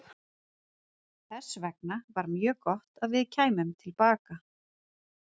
Þess vegna var mjög gott að við kæmum til baka.